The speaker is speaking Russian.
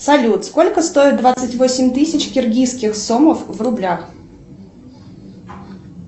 салют сколько стоит двадцать восемь тысяч киргизских сомов в рублях